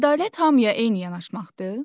Ədalət hamıya eyni yanaşmaqdır?